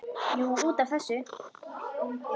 Jú, út af þessu.